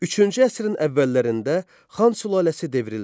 Üçüncü əsrin əvvəllərində Xan sülaləsi devrildi.